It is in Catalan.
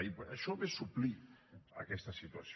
i això ve a suplir aquesta situació